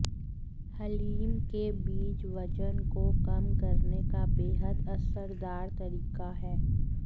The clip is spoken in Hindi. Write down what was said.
हलीम के बीज वजन को कम करने का बेहद असरदार तरीका है